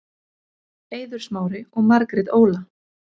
Eiður Smári og Margrét Óla